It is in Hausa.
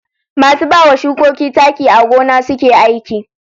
Masu bawa shukoki taki a gona suke aiki.